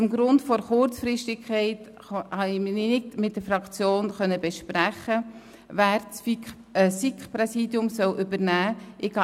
Wegen der Kurzfristigkeit konnte ich mich nicht mit der Fraktion besprechen, wer das SiK-Präsidium übernehmen soll.